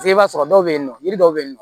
I b'a sɔrɔ dɔw bɛ yen nɔ yiri dɔw bɛ yen nɔ